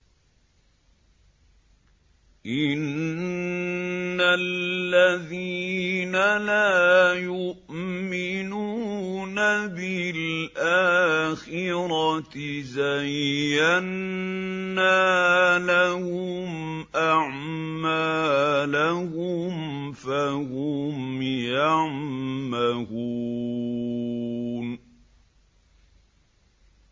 إِنَّ الَّذِينَ لَا يُؤْمِنُونَ بِالْآخِرَةِ زَيَّنَّا لَهُمْ أَعْمَالَهُمْ فَهُمْ يَعْمَهُونَ